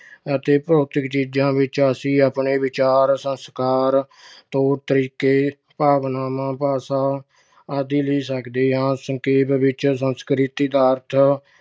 ਅਤੇ ਅਭੌਤਿਕ ਚੀਜਾਂ ਵਿੱਚ ਅਸੀਂ ਆਪਣੇ ਵਿਚਾਰ, ਸੰਸਕਾਰ, ਤੌਰ-ਤਰੀਕੇ, ਭਾਵਨਾਵਾਂ, ਭਾਸ਼ਾ ਆਦਿ ਲੈ ਸਕਦੇ ਹਾਂ। ਸੰਖੇਪ ਵਿੱਚ ਸੰਸਕ੍ਰਿਤੀ ਦਾ ਅਰਥ